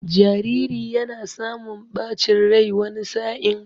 Jariri yana samun ɓacin rai wani sa'in.